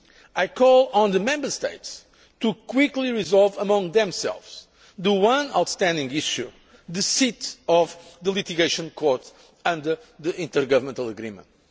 I call on the Member States quickly to resolve among themselves the one outstanding issue the seat of the litigation court under the intergovernmental agreement.